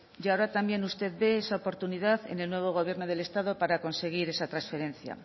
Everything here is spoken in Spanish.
y ahora también usted ve esa oportunidad en el nuevo gobierno del estado para conseguir esa trasferencia